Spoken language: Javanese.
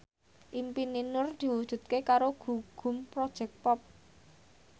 impine Nur diwujudke karo Gugum Project Pop